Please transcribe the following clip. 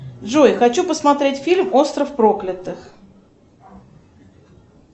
джой хочу посмотреть фильм остров проклятых